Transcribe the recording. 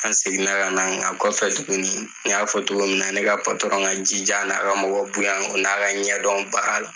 An seginna kana an kɔfɛ tuguni n y'a fɔ togo minna na ne ka patɔrɔn ka jija n'a kamɔgɔ bonya o n'a ka ɲɛdɔn baara la